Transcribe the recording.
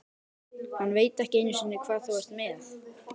Hann veit ekki einu sinni hvað þú ert með.